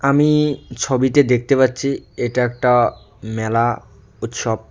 আমি ছবিতে দেখতে পাচ্ছি এটা একটা মেলা উৎসব।